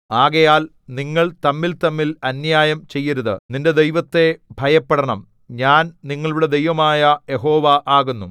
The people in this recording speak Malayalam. ആകയാൽ നിങ്ങൾ തമ്മിൽതമ്മിൽ അന്യായം ചെയ്യരുത് നിന്റെ ദൈവത്തെ ഭയപ്പെടണം ഞാൻ നിങ്ങളുടെ ദൈവമായ യഹോവ ആകുന്നു